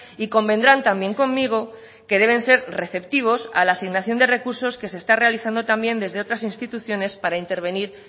y convendrán también conmigo que deben ser receptivos a la asignación de recursos que se está realizando también desde otras instituciones para intervenir